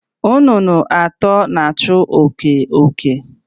Nnụnụ atọ nọ na-achụ oke oke.